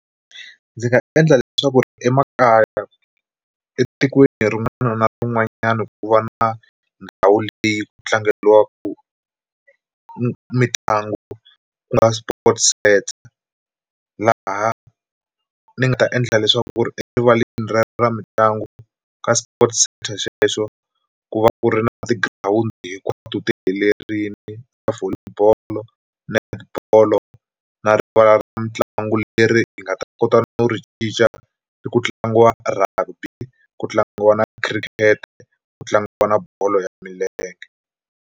Ndzi nga endla leswaku ri emakaya etikweni rin'wana na rin'wanyana ku va na ndhawu leyi ku tlangeriwaka mitlangu ku nga sport centre, laha ni nga endla leswaku ri erivaleni ra mitlangu ka sport centre xexo ku va ku ri na tigirawundi hinkwato ti helerile Volley bolo, Net bolo na rivala ra mitlangu leri hi nga ta kota no ri cinca ku tlangiwa Rugby ku tlangiwa khirikete ku tlangiwa bolo ya milenge.